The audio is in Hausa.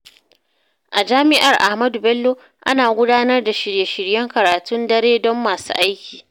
A jami’ar Ahmadu Bello, ana gudanar da shirye-shiryen karatun dare don masu aiki.